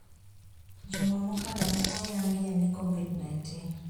Juma mokalo ne oyangye ni COVID -19